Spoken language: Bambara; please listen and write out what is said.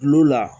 Kulo la